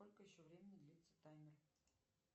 сколько еще времени длится таймер